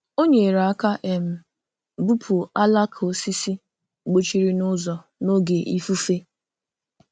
Ọ nyere aka um bupu alaka osisi gbochiri n’ụzọ n’oge ifufe.